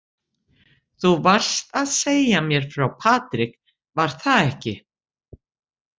Þú varst að segja mér frá Patrik, var það ekki?